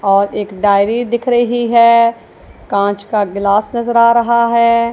और एक डायरी दिख रही हैं कांच का ग्लास नजर आ रहा हैं।